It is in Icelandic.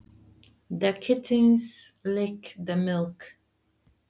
Kisurnar lepja mjólkina.